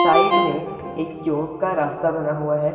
Side में एक चौक का रास्ता बना हुआ है।